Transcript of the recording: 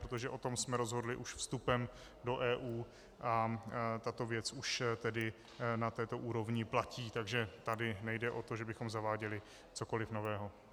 Protože o tom jsme rozhodli už vstupem do EU a tato věc už tedy na této úrovni platí, takže tady nejde o to, že bychom zaváděli cokoliv nového.